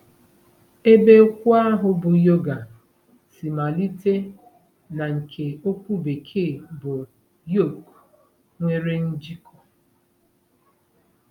Ebe okwu ahụ bụ́ “yoga” si malite na nke okwu Bekee bụ́ “yoke” nwere njikọ.